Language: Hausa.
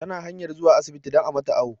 Ta na hanyar zuwa asibti don a mata awu